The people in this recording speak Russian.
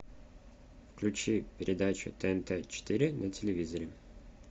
включи передачу тнт четыре на телевизоре